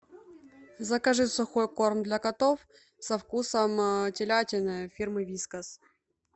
закажи сухой корм для котов со вкусом телятины фирмы вискас